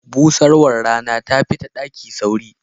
Busarwar Rana tafi ta daki sauri.